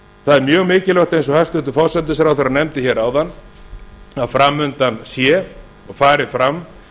það er mjög mikilvægt eins og hæstvirtur forsætisráðherra nefndi hér áðan að fram undan sé og fari fram